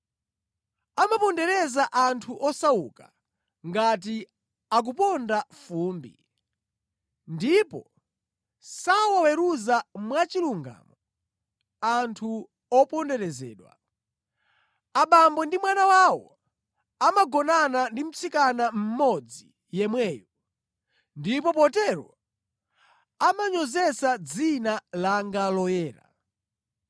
Amapondereza anthu osauka ngati akuponda fumbi, ndipo sawaweruza mwachilungamo anthu oponderezedwa. Abambo ndi mwana wawo amagonana ndi mtsikana mmodzi yemweyo, ndipo potero amanyozetsa dzina langa loyera.